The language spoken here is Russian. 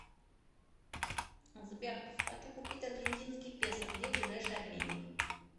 сбер хочу купить аргентинский песо где ближайший обменник